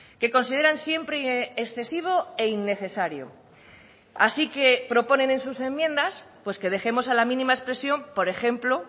que consideran siempre excesivo e innecesario así que proponen en sus enmiendas pues que dejemos a la mínima expresión por ejemplo